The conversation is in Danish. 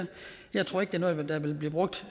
jeg tror ikke det er noget der vil blive brugt